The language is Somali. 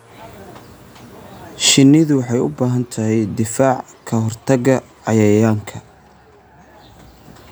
Shinnidu waxay u baahan tahay difaac ka hortagga cayayaanka.